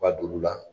U ka dugu la